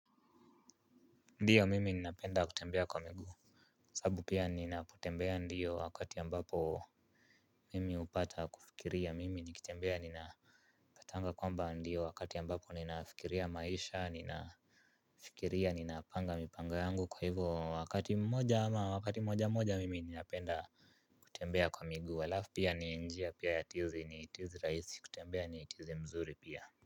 Ndiyo mimi ninapenda kutembea kwa miguu. Sababu pia ninapotembea ndiyo wakati ambapo mimi hupata kufikiria mimi nikitembea ninaPatanga kwamba ndiyo wakati ambapo ninafikiria maisha nina fikiria ninapanga mipango yangu kwa hivyo wakati mmoja ama wakati mmoja mmoja mimi ninapenda. Kutembea kwa miguu alafu pia ni njia pia ya tizi ni tizi rahisi kutembea ni tizi mzuri pia.